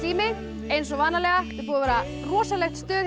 eins og vanalega búið að vera rosalegt stuð hjá